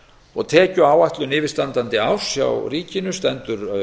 og tekjuáætlun yfirstandandi árs hjá ríkinu stendur